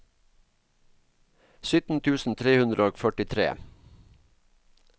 sytten tusen tre hundre og førtitre